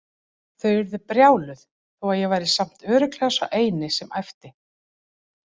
Þau urðu brjáluð þó að ég væri samt örugglega sá eini sem æpti.